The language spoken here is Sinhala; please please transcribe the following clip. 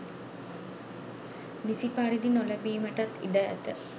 නිසි පරිදි නොලැබීමටත් ඉඩ ඇත.